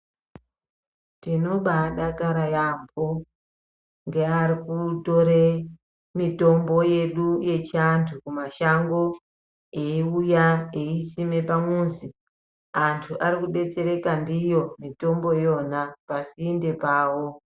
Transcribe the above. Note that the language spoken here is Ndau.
Tinobaa dakaara yaampo ngaari kutore mitombo yedu yechiantu kumashango eiuya eisime pamuzi antu arikudetsereka ndiyo mitombo iyona pasinde pawo.